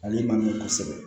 Ale man ɲi kosɛbɛ